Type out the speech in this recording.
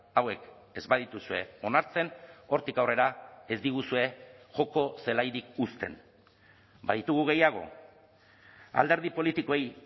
hauek ez badituzue onartzen hortik aurrera ez diguzue joko zelairik uzten baditugu gehiago alderdi politikoei